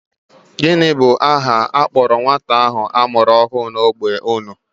Gịnị bụ aha a kpọrọ nwata ahụ a mụrụ ọhụụ n'ógbè unu?